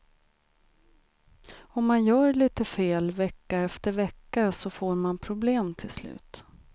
Om man gör lite fel vecka efter vecka så får man problem till slut.